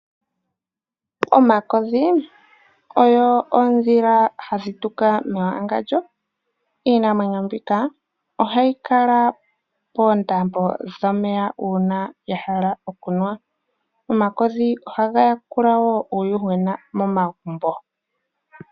Omakodhi ogo oondhila hadhi tuka mewangandjo. Iinamwenyo mbika ohayi kala poondombe dhomeya uuna ya hala okunwa. Omakodhi ohaga yakula wo uuyuhwena momagumbo.